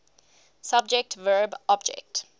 subject verb object